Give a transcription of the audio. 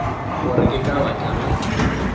gore ke ka baka la